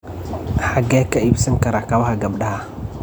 Xagee ka iibsan karaa kabaha gabadha?